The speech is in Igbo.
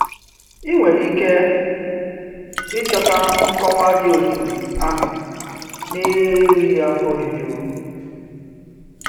Ị̀ nwere ike ịchọta nkọwa dị otú ahụ na-erughị afọ ojuju.